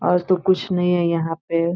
आज तो कुछ नहीं है यहाँ पे।